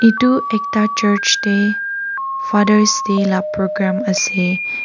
Etu ekta church dae father's day la program ase.